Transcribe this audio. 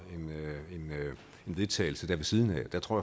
en vedtagelse ved siden af og der tror